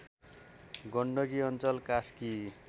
गण्डकी अञ्चल कास्की